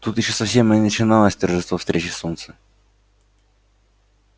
тут ещё совсем и не начиналось торжество встречи солнца